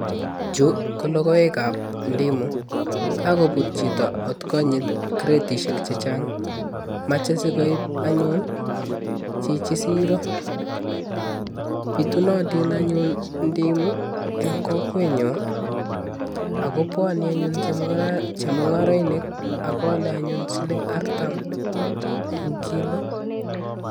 Chu ko logoekab ndimu kakobut chito ot konyit kretisiek che chang, mache sikoib anyun chichi siro, pitunotin anyun ndimu eng kokwenyo ako bwoni anyun chemungarainik ako alei anyun siling artam eng kilo.